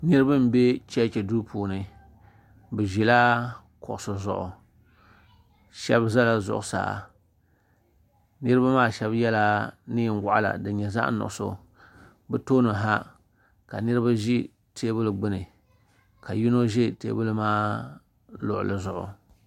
Niriba m be chechi duu puuni bɛ ʒila kuɣusi zuɣu sheba zala zuɣusaa niriba maa sheba yela niɛn'waɣala din nyɛ zaɣa nuɣuso bɛ tooni ha ka niriba ʒi teebuli gbini ka yino ʒi teebuli maa luɣuli zuɣu.